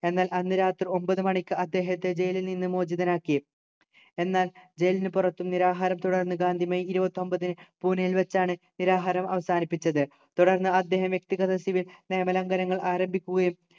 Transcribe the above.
എന്നാൽ അന്ന് രാത്രി ഒമ്പത് മണിക്ക് അദ്ദേഹത്തെ ജയിലിൽ നിന്നും മോചിതനാക്കി എന്നാൽ ജയിലിനു പുറത്തു നിരാഹാരം തുടർന്ന് ഗാന്ധി മെയ് ഇരുപത്തൊമ്പതിന് പൂനയിൽ വച്ചാണ് നിരാഹാരം അവസാനിപ്പിച്ചത് തുടർന്ന് അദ്ദേഹം വ്യക്തിഗത civil നിയമലംഘനങ്ങൾ ആരംഭിക്കുകയും